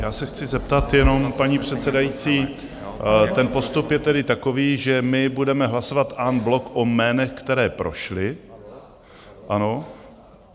Já se chci zeptat jenom, paní předsedající, ten postup je tedy takový, že my budeme hlasovat en bloc o jménech, která prošla, ano?